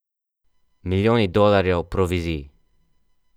Milijoni dolarjev provizij.